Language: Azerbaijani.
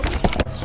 Axşam üstü idi.